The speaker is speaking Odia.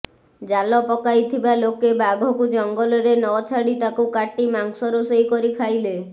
ଜାଲ ପକାଇଥିବା ଲୋକେ ବାଘକୁ ଜଙ୍ଗଲରେ ନ ଛାଡି ତାକୁ କାଟି ମାଂସ ରୋଷେଇ କରି ଖାଇଲେ